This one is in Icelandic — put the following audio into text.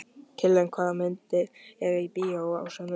Kiljan, hvaða myndir eru í bíó á sunnudaginn?